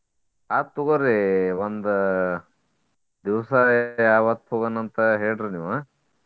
ಆತ್ ತೊಗೋರಿ ಒಂದ್ ದಿವ್ಸ ಯಾವತ್ತ್ ಹೋಗೋನಂತ ಹೇಳ್ರಿ ನೀವ.